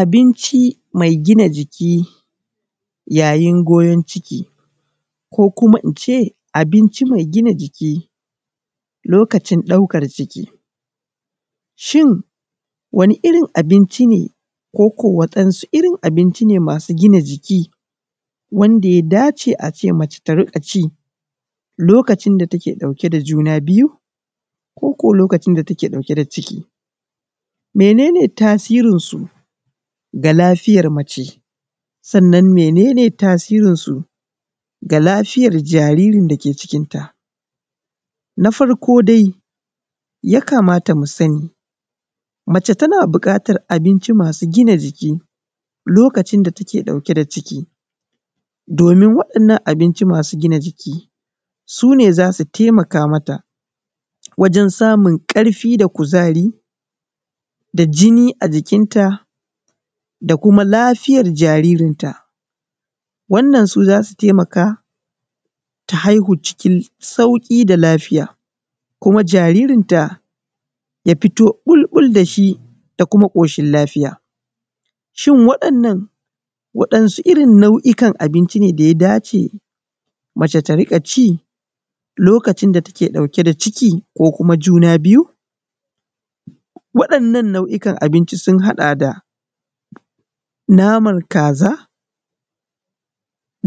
Abinci mai gina jiki ko kuma ince abincin mai gina jiki, lokacin ɗaukar ciki shin wani irin abinci ne ko waɗansu irin abinci ne masu gina jiki wanda ya dace ace mace tarika ci lokacin da take ɗauke da juna biyu ko ko lokacin da take ɗauke da ciki, mene ne tasirin su ga lafiyar mace sannan mene ne tasirin su ga lafiyar jaririn dake cikinta, na farko dai ya kamata mu sani mace tana bukatar abinci masu gina jiki lokacin da take ɗauke da ciki, domin da waɗannan abincin masu gina jiki sune zasu taimaka mata wajen samun karfin da kuzari da jini a jikinta da kuma lafiyar jaririnta, wannan su zasu taimaka ta haihu cikin sauki da lafiya kuma jaririn ta ya fito bul-bul dashi da kuma koshin lafiya shin waɗannan waɗansu irin nau’ikan abinci ne ɗaya dace mace ta rika ci lokacin da take ɗauke da ciki ko kuma juna biyu, waɗannan nau’ikan abinci sun haɗa da namar kaza,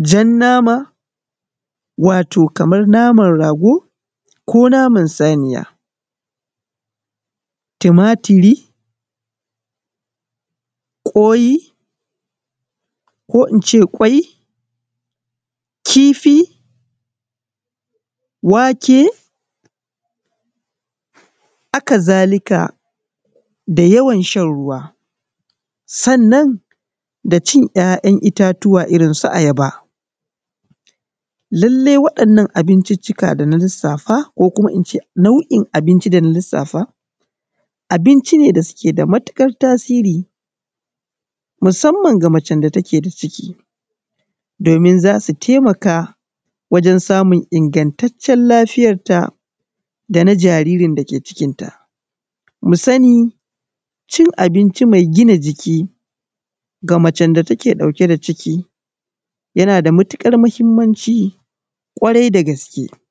jan nama, wato kamar naman rago ko naman saniya tumatiri, ƙwai, kifi, haka zalika da yawan shan ruwa, sannan da cin ‘ya’yan itatuwa irin su ayaba lallai waɗannan abincicika dana lisafa ko kuma ince nau’in abinci dana lisafa abinci ne da suke da matukar tasiri musamman ga macen da takeda ciki domin zasu taimaka wajen samun ingantacen lafiyarta dana jaririn da ke cikinta, mu sani cin abinci mai gina jiki ga macen da take ɗauke da ciki yana da matukar muhimmamci ƙwarai da gaske.